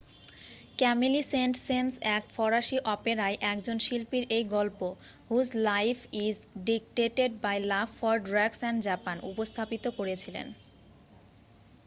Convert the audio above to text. "ক্যামিলি Saint Saens এক ফরাসি অপেরায় একজন শিল্পীর এই গল্প "whose life is dictated by love for drugs and Japan" উপস্থাপিত করেছিলেন।